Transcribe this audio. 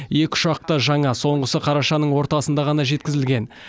екі ұшақ та жаңа соңғысы қарашаның ортасында ғана жеткізілген